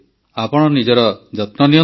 ଆପଣ ନିଜର ଯତ୍ନ ନିଅନ୍ତୁ